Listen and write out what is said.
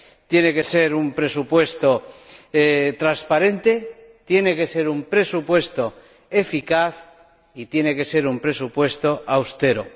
Tiene que ser un presupuesto transparente, tiene que ser un presupuesto eficaz y tiene que ser un presupuesto austero.